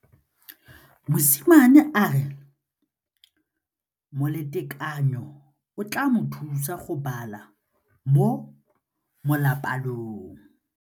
Mosimane a re molatekanyô o tla mo thusa go bala mo molapalong.